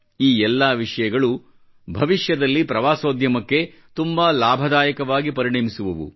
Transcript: ಈ ಎಲ್ಲಾ ವಿಷಯಗಳೂ ಭವಿಷ್ಯದಲ್ಲಿ ಪ್ರವಾಸೋದ್ಯಮಕ್ಕೆ ತುಂಬಾ ಲಾಭದಾಯಕವಾಗಿ ಪರಿಣಮಿಸುವವು